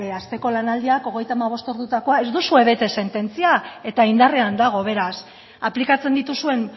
hasteko lanaldiak hogeita hamabost ordutako ez duzue bete sententzia eta indarrean dago beraz aplikatzen dituzuen